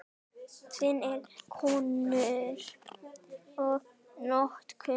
Fimm eru komnar í notkun.